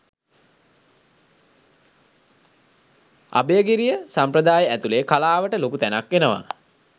අභයගිරිය සම්ප්‍රදාය ඇතුළේ කලාවට ලොකු තැනක් එනවා.